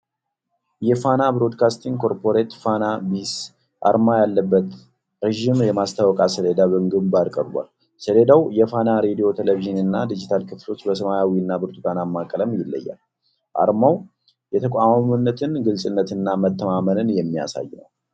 የፋና ብሮድካስቲንግ ኮርፖሬት (ፋና ቢሲ) አርማ ያለበት ረጅም የማስታወቂያ ሰሌዳ በግንባር ቀርቧል። ሰሌዳው የፋና ሬድዮ፣ ቴሌቪዥን እና ዲጂታል ክፍሎችን በሰማያዊና ብርቱካንማ ቀለም ይለያል። አርማው የተቋማዊነትን ግልጽነትና መተማመንን የሚያሳይ ነው።